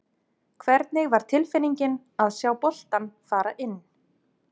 Hvernig var tilfinningin að sjá boltann fara inn?